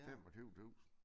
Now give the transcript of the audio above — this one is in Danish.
25 tusinde